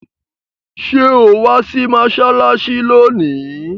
Sọ wá sí mọ́ṣáláṣí lónìí?